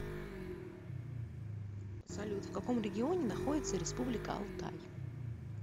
салют в каком регионе находится республика алтай